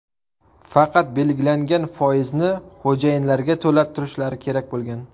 Faqat belgilangan foizni xo‘jayinlarga to‘lab turishlari kerak bo‘lgan.